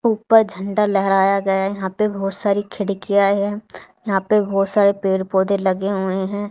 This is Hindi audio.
ऊपर झंडा लहराया गया है यहां पे बहोत सारी खिड़कियां है यहां पे बहोत सारे पेड़ पौधे लगे हुए हैं।